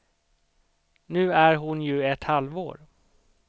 Nu är hon ju ett halvår.